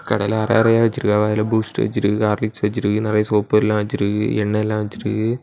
கடையில அற அறையா வச்சிருக்காங்க இதுல பூஸ்ட் வெச்சிருக்கு ஹார்லிக்ஸ் வெச்சிருக்கு நிறைய சோப்பு எல்லா வெச்சிருக்கு எண்ணெய்யெல்லா வெச்சிருக்கு.